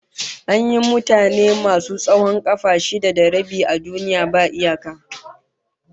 An yi mutane masu tsawon kafa shida da rabi a duniya babu iyaka